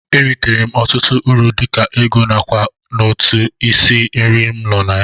E ritere m ọtụtụ uru dịka ego na ákwà n'otu isi nri m nọ.